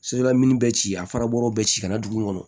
Sojɔla mini bɛ ci a fara bɔrɔ bɛ ci ka na dugu kɔnɔ